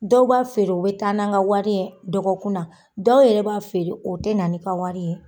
Dɔw b'a feere? u be taa n'an ka wari ye dɔgɔkun na dɔw yɛrɛ b'a feere u te na n'i ka wari ye.